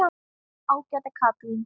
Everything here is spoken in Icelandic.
Ágæta Katrín.